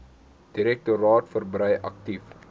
direktoraat verbrei aktief